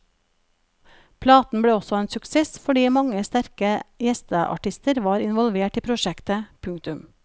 Platen ble også en suksess fordi mange sterke gjesteartister var involvert i prosjektet. punktum